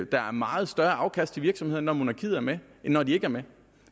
der er meget større afkast til virksomhederne når monarkiet er med end når de ikke er med